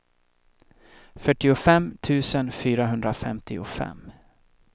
fyrtiofem tusen fyrahundrafemtiofem